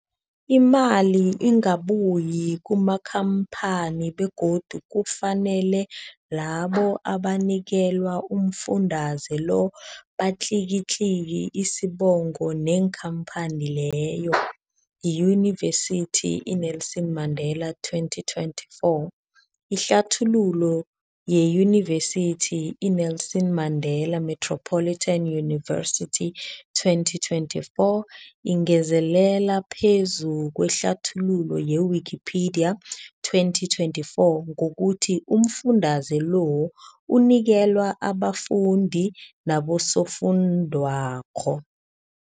Imali ingabuyi kumakhamphani begodu kufanele labo abanikelwa umfundaze lo batlikitliki isibopho neenkhamphani leyo, Yunivesity i-Nelson Mandela 2024. Ihlathululo yeYunivesithi i-Nelson Mandela Metropolitan University, 2024, ingezelele phezu kwehlathululo ye-Wikipedia, 2024, ngokuthi umfundaze lo unikelwa abafundi nabosofundwakgho.